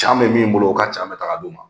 Can bɛ min bolo o ka ca bɛ ta ka di o ma.